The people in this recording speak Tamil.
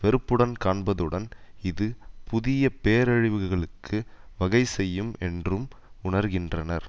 வெறுப்புடன் காண்பதுடன் இது புதிய பேரழிவுகளுக்கு வகை செய்யும் என்றும் உணர்கின்றனர்